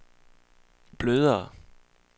blødere